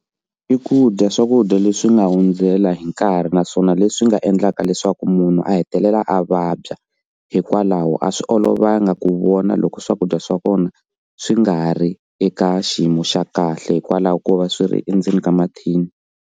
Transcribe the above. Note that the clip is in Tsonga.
I ku dya swakudya leswi nga hundzela hi nkarhi naswona leswi nga endlaka leswaku munhu a hetelela a vabya hikwalaho a swi olovanga ku vona loko swakudya swa kona swi nga ri eka xiyimo xa kahle hikwalaho ko va swi ri endzeni ka mathini.